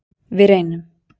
Við reynum.